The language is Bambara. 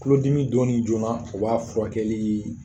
Tulolodimi donni joona, o b'a furakɛli